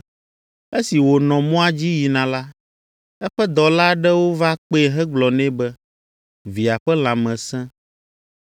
Esi wònɔ mɔa dzi yina la, eƒe dɔla aɖewo va kpee hegblɔ nɛ be via ƒe lãme sẽ.